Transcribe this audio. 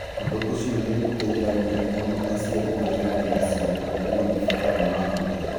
Ũndũ ũcio nĩ ũteithagia mũno aciari arĩa marĩ na ciana irĩ na mabataro ma mwanya.